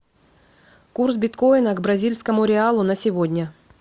курс биткоина к бразильскому реалу на сегодня